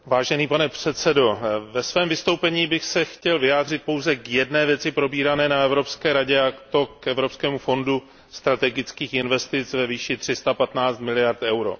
Pane předsedající, ve svém vystoupení bych se chtěl vyjádřit pouze k jedné věci probírané na Evropské radě a to k Evropskému fondu strategických investic ve výši 315 miliard eur.